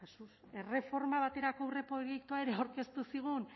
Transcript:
erreforma baterako aurreproiektua ere aurkeztu zigun